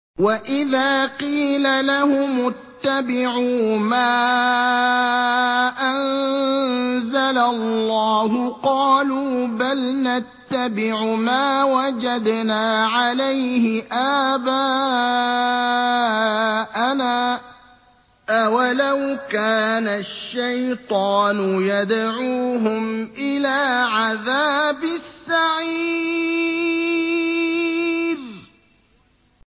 وَإِذَا قِيلَ لَهُمُ اتَّبِعُوا مَا أَنزَلَ اللَّهُ قَالُوا بَلْ نَتَّبِعُ مَا وَجَدْنَا عَلَيْهِ آبَاءَنَا ۚ أَوَلَوْ كَانَ الشَّيْطَانُ يَدْعُوهُمْ إِلَىٰ عَذَابِ السَّعِيرِ